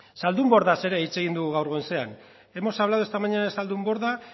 zaldunbordaz ere hitz egin dugu gaur goizean hemos hablado esta mañana de zaldunborda